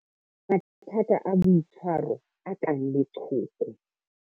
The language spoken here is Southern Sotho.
Mathata a boitshwaro a kang leqhoko.